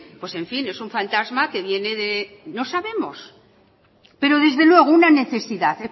pues en fin es un fantasma que viene de no sabemos pero desde luego una necesidad